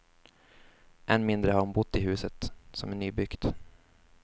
Än mindre har hon bott i huset, som är nybyggt.